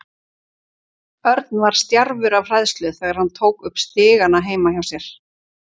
Örn var stjarfur af hræðslu þegar hann stökk upp stigana heima hjá sér.